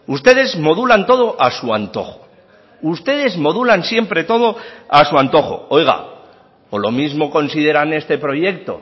ustedes modulan todo a su antojo ustedes modulan siempre todo a su antojo oiga o lo mismo consideran este proyecto